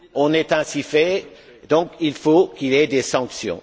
On est ainsi faits, donc il faut qu'il y ait des sanctions.